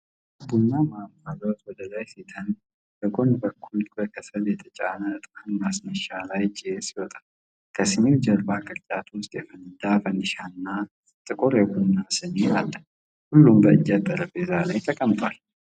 ቡናው በእንፋሎት ወደ ላይ ሲተን፣ በጎን በኩል በከሰል የተጫነ ዕጣን ማስነሻ ላይ ጭስ ይወጣል፤ ከሲኒው ጀርባ ቅርጫት ውስጥ የፈነዳ ፈንዲሻ እና ጥቁር የቡና ሲኒ አለ፤ ሁሉም በእንጨት ጠረጴዛ ላይ ተቀምጧል።